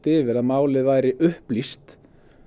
yfir að málið væri upplýst